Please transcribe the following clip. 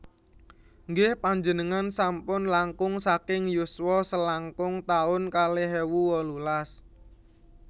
Nggih panjenengan sampun langkung saking yuswa selangkung taun kalih ewu wolulas